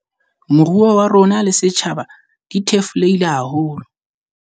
Moruo wa rona le setjhaba di thefulehile haholo.